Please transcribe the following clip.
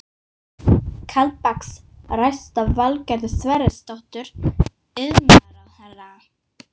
Kaldbaks ræst af Valgerði Sverrisdóttur iðnaðarráðherra.